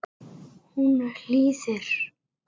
Hún hlýðir.